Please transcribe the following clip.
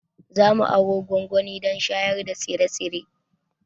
Za mu aro gwangwani don shayar da tsire-tsire.